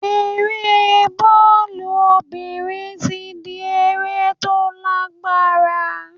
Eré bọ́ọ̀lù obìnrin ti ń di eré tó lágbára.